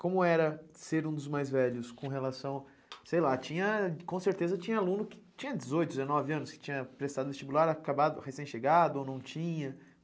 Como era ser um dos mais velhos com relação... Sei lá, tinha, com certeza tinha aluno que tinha dezoito, dezenove anos, que tinha prestado vestibular, acabado, recém chegado ou não tinha.